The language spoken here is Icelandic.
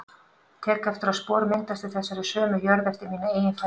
Tek eftir að spor myndast í þessari sömu jörð eftir mína eigin fætur.